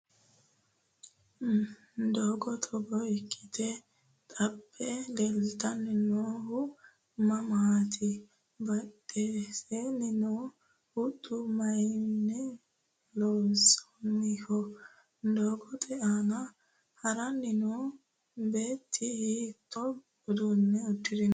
doogo togo ikkite xabbe leeltanni noohu mamaati? badheseenni noo huxxi mayeenni loonsoonniho? doogote aana haranni noo beetti hiittoo uduunne uddirinoho?